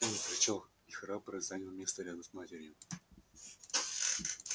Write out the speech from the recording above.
он зарычал и храбро занял место рядом с матерью